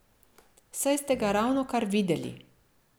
Saj ste ga ravnokar videli.